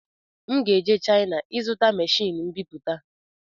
M ga-eje China ịzụta machini mbiputa